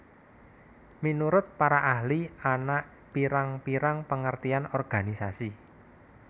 Minurut para ahli ana pirang pirang pengertian organisasi